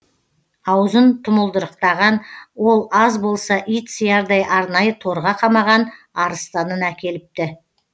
аузын тұмылдырықтаған ол аз болса ит сиярдай арнайы торға қамаған арыстанын әкеліпті